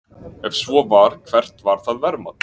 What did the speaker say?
Ef svo var, hvert var það verðmat?